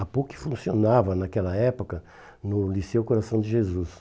A PUC funcionava naquela época no Liceu Coração de Jesus.